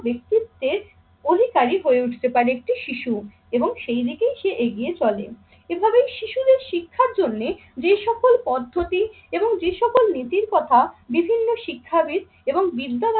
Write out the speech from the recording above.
ব্যক্তিত্বের অধিকারী হয়ে উঠতে পারে একটি শিশু এবং সেই দিকেই সে এগিয়ে চলে। এভাবে শিশুদের শিক্ষার জন্যে যে সকল পদ্ধতি এবং যে সকল নীতির কথা বিভিন্ন শিক্ষাবিদ এবং বিদ্যা